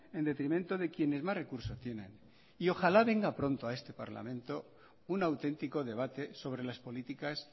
en detrimento de quienes más recursos tienen y ojalá venga pronto a este parlamento un auténtico debate sobre las políticas